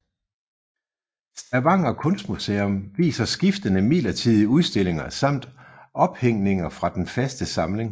Stavanger kunstmuseum viser skiftende midlertidige udstillinger samt ophængninger fra den faste samling